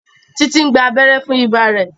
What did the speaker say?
Titi ń gbà abéré fún ibà rẹ.